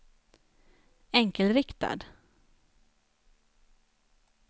enkelriktad